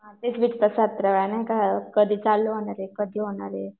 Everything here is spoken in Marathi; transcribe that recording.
नाही का कधी चालू होणार आहे कधी होणार ये.